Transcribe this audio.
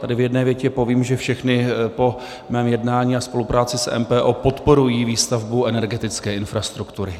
Tady v jedné větě povím, že všechny po mém jednání a spolupráci s MPO podporují výstavbu energetické infrastruktury.